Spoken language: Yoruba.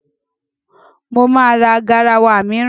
Mo ma ra garawa mìíràn.